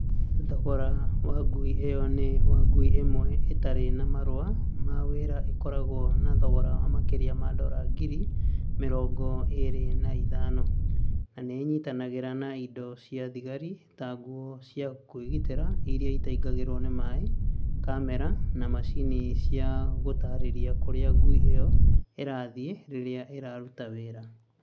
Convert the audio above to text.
Thogora wa ngui ĩyo ni wa ngui ĩmwe ĩtarĩ na marũa ma wĩra ĩkoragwo na thogora wa makĩria ma dora ngiri mĩrongo ĩĩrĩ na ithano, na nĩ ĩnyitanagĩra na indo cia thigari, ta nguo cia kwĩgitĩra iria itingĩingĩingĩrũo nĩ maĩ, kamera, na macini cia gũtaarĩria kũrĩa ngui ĩyo ĩrathiĩ rĩrĩa ĩraruta wĩra.